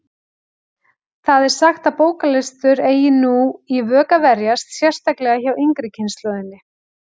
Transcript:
Það er sagt að bóklestur eigi nú í vök að verjast, sérstaklega hjá yngri kynslóðinni.